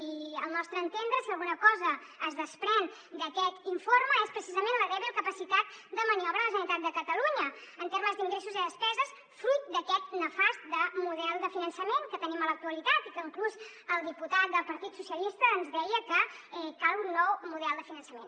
i al nostre entendre si alguna cosa es desprèn d’aquest informe és precisament la dèbil capacitat de maniobra de la generalitat de catalunya en termes d’ingressos i despeses fruit d’aquest nefast model de finançament que tenim en l’actualitat i que inclús el diputat del partit socialistes ens deia que cal un nou model de finançament